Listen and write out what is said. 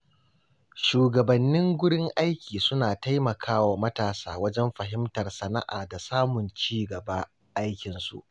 Shugabannin gurin aiki suna taimakawa matasa wajen fahimtar sana’a da samun ci gaban aikinsu.